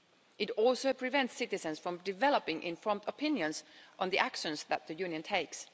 It also prevents citizens from developing informed opinions on the actions that the Union takes.